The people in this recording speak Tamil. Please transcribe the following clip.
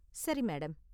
சரி மேடம்.